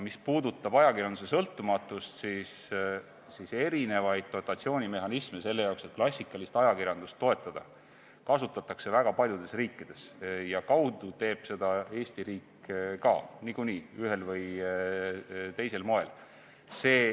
Mis puudutab ajakirjanduse sõltumatust, siis eri dotatsioonimehhanisme selle jaoks, et klassikalist ajakirjandust toetada, kasutatakse väga paljudes riikides ja kaude teeb seda Eesti riik ka niikuinii ühel või teisel moel.